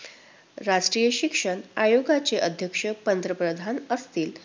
राष्ट्रीय शिक्षण आयोगाचे अध्यक्ष पंतप्रधान असतील.